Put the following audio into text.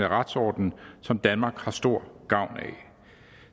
retsorden som danmark har stor gavn af